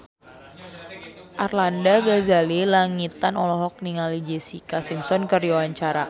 Arlanda Ghazali Langitan olohok ningali Jessica Simpson keur diwawancara